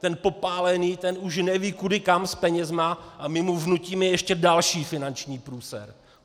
Ten popálený už neví kudy kam s penězi a my mu vnutíme ještě další finanční průser.